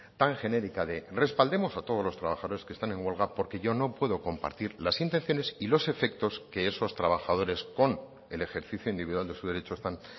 tan genérica de respaldemos a todos los trabajadores que están en huelga porque yo no puedo compartir las intenciones y los efectos que esos trabajadores con el ejercicio individual de su derecho están